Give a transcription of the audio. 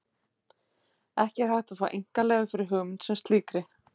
Ekki er hægt að fá einkaleyfi fyrir hugmynd sem slíkri.